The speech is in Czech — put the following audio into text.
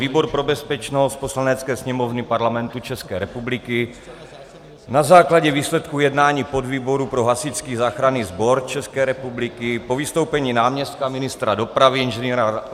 Výbor pro bezpečnost Poslanecké sněmovny Parlamentu České republiky na základě výsledků jednání podvýboru pro hasičský záchranný sbor České republiky, po vystoupení náměstka ministra dopravy Ing.